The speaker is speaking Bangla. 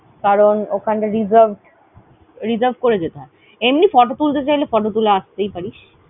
কারণ ওখানে Reserved, reserve করে যেতে হয়। এমনি photo তুলতে চাইলে photo তুলে আসতেই পারিস।